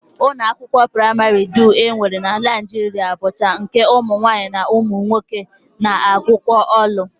Ụlọakwụkwọ praịmarị dum e nwere na Naijiria bụcha nke ụmụnwaanyị na ụmụnwoke na-agụkọ ọnụ